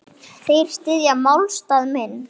Þeir styðja málstað minn.